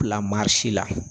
Bila marisi la